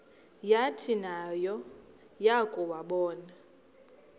yathi nayo yakuwabona